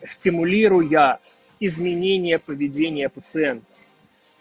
стимулируя изменения поведения пациента